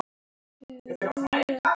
Samt var honum kalt.